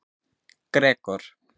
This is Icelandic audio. Gregor